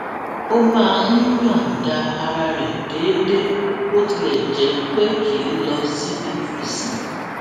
ó máa ń yòǹda ara rè déédéé bó tilè jé pé kì í lọ síbi ìsìn